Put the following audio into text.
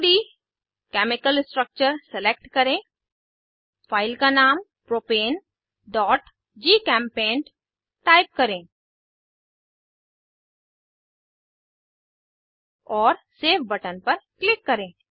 2डी chemical structure select करें file का नाम propaneजीचेम्पेंट टाइप करें और सेव बटन पर क्लिक करें